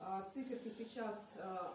акции ты сейчас